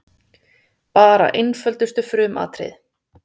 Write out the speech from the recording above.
Bara einföldustu frumatriði.